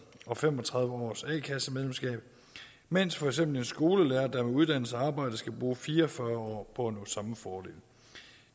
og fem og tredive års a kassemedlemsskab mens for eksempel en skolelærer der har uddannet sig og arbejdet skal bruge fire og fyrre år nå samme fordel